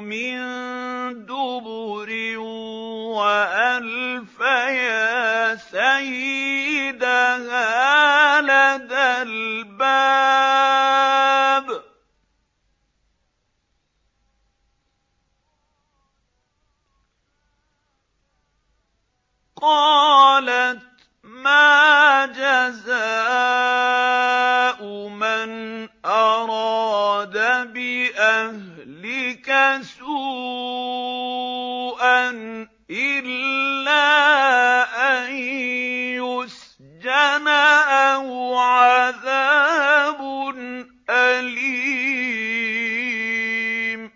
مِن دُبُرٍ وَأَلْفَيَا سَيِّدَهَا لَدَى الْبَابِ ۚ قَالَتْ مَا جَزَاءُ مَنْ أَرَادَ بِأَهْلِكَ سُوءًا إِلَّا أَن يُسْجَنَ أَوْ عَذَابٌ أَلِيمٌ